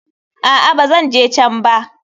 A'a, ba zan je can ba.